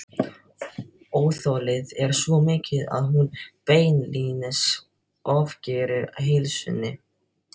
Óþolið er svo mikið að hún beinlínis ofgerir heilsunni.